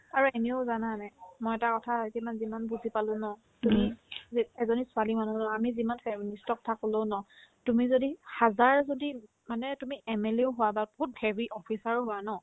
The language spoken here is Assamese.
আৰু এনেও জানানে নাই মই এটা কথা যিমান যিমান বুজি পালো ন তুমি যে এজনী ছোৱালী মানুহ হ'লে আমি যিমান চেও নিজৰ কথা ক'লো ন তুমি যদি হাজাৰ যদি মানে তুমি MLA ও হোৱা বা বহুত heavy officer ও হোৱা ন